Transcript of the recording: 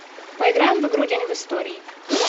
поиграем в игру день в истории